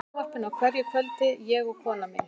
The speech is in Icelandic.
Við erum í sjónvarpinu á hverju kvöldi, ég og konan mín.